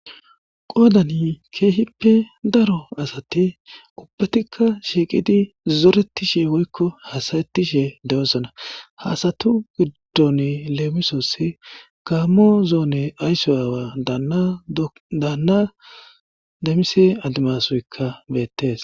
Qoodan keehippe daro asati ubatikka issippe shiiqidi zoretishe woykko hasayetishe dosona. Ha asatu gidon lemisosi; gaammo zoone ayso aawa daana Damise Adimasoykka beetees.